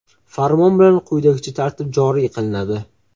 Farmon bilan quyidagicha tartib joriy qilinadi: .